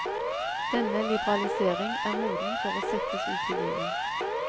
Denne liberalisering er moden for å settes ut i livet.